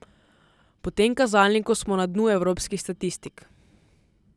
Po tem kazalniku smo na dnu evropskih statistik.